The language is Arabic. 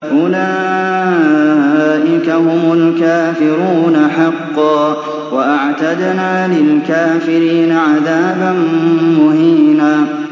أُولَٰئِكَ هُمُ الْكَافِرُونَ حَقًّا ۚ وَأَعْتَدْنَا لِلْكَافِرِينَ عَذَابًا مُّهِينًا